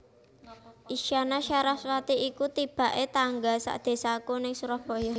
Isyana Saraswati iku tibak e tangga sak desaku nang Surabaya